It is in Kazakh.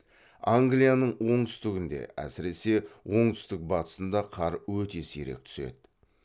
англияның оңтүстігінде әсіресе оңтүстік батысында қар өте сирек түседі